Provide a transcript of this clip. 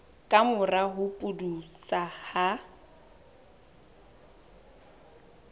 ka mora ho pudutsa ha